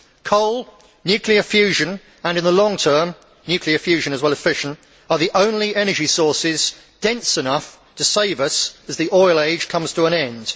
Coal, nuclear fusion and in the long term nuclear fusion plus fission are the only energy sources dense enough to save us as the oil age comes to an end.